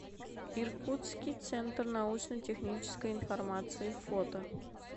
иркутский центр научно технической информации фото